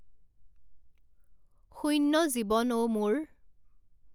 শূণ্য জীৱন অ মোৰ